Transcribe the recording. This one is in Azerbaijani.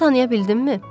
Məni tanıya bildinmi?